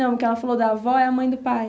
Não, a que ela falou da avó é a mãe do pai.